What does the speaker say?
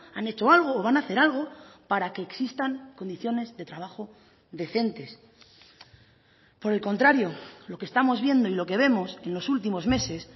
han hecho algo o van a hacer algo para que existan condiciones de trabajo decentes por el contrario lo que estamos viendo y lo que vemos en los últimos meses